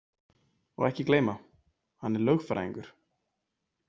Og ekki gleyma: hann er lögfræðingur!